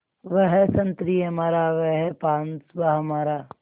वह संतरी हमारा वह पासबाँ हमारा